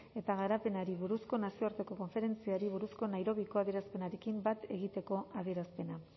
eta garapenari buruzko nazioarteko konferentziari buruzko nairobiko adierazpenarekin bat egiteko adierazpena